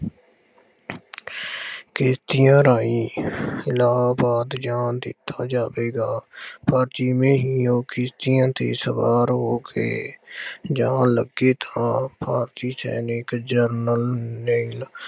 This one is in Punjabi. ਕਿਸ਼ਤੀਆਂ ਰਾਹੀਂ ਇਲਾਹਾਬਾਦ ਜਾਣ ਦਿੱਤਾ ਜਾਵੇਗਾ। ਪਰ ਜਿਵੇਂ ਹੀ ਉਹ ਕਿਸ਼ਤੀਆਂ ਤੇ ਸਵਾਰ ਹੋ ਕੇ ਜਾਣ ਲੱਗੇ ਤਾਂ ਭਾਰਤੀ ਸੈਨਿਕ ਜਰਨਲ ਨੇ